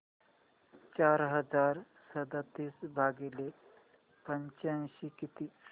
चार हजार सदतीस भागिले पंच्याऐंशी किती